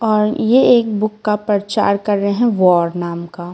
और ये एक बुक का प्रचार कर रहे हैं वॉर नाम का।